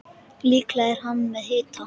Líklega er hann með hita.